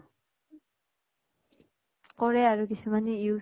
কৰে আৰু কিছমানে use